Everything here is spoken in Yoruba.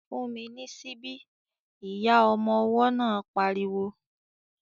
"Fún mi ní síbí!" Ìyá ọmọ ọwọ́ náà pariwo